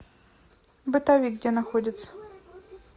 бытовик где находится